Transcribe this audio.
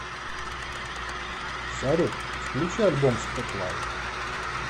салют включи альбом спотлайт